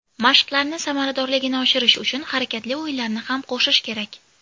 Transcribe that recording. Mashqlarni samaradorligini oshirish uchun harakatli o‘yinlarni ham qo‘shish kerak.